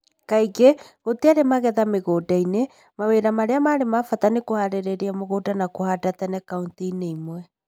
Kaingĩ, gũtiarĩ magetha mĩgũnda-inĩ . Mawĩra marĩa ma bata nĩ kũhaarĩria mugũnda na kũhanda tene kauntĩ-inĩ imwe